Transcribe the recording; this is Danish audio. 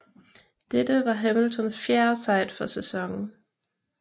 Dette var Hamiltons fjerde sejt for sæsonen